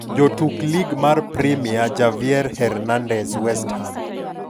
Jotuk Lig mar Premia: Javier Hernandez (West Ham).